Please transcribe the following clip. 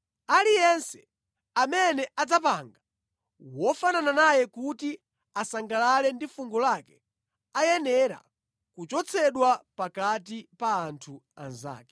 Aliyense amene adzapanga wofanana naye kuti asangalale ndi fungo lake ayenera kuchotsedwa pakati pa anthu anzake.”